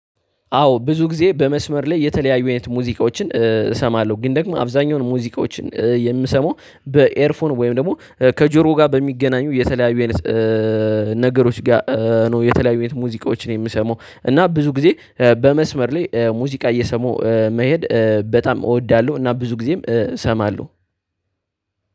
አዎ ብዙ ጊዜ በመስመር ላይ የተለያዩ አይነት ሙዚቃዎችን እሰማለሁ ግን ደግሞ አብዛኛውን ሙዚቃዎችን የምሰማው በኤርፎን ወይም ደግሞ ከጆሮ ጋር በሚገናኙ የተለያዩ አይነት ነገሮች ጋር ነው የተለያዩ ሙዚቃዎችን የምሰማው እና ብዙ ጊዜ በመስመር ላይ ሙዚቃ እየሰሙ መሄድ በጣም እወዳለሁ እና ብዙ ጊዜም እሰማለሁ።